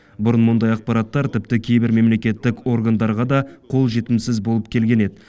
бұрын мұндай ақпараттар тіпті кейбір мемлекеттік органдарға да қолжетімсіз болып келген еді